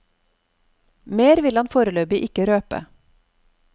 Mer vil han foreløpig ikke røpe.